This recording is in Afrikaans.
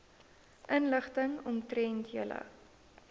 inligting omtrent julle